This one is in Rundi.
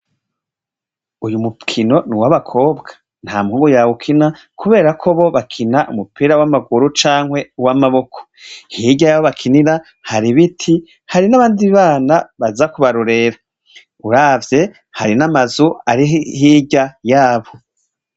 Uyu mupwino ni uwabakobwa nta muhungu yawe ukina, kubera ko bo bakina umupira w'amaguru canke w'amaboko hirya yabo bakinira hari biti hari n'abandi bana baza kubarurera uravye hari n'amazu ari hirya yabo.